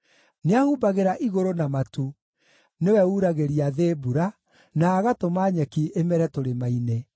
Nĩahumbagĩra igũrũ na matu; nĩwe uuragĩria thĩ mbura, na agatũma nyeki ĩmere tũrĩma-inĩ.